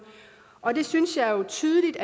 og det synes jeg jo tydeligt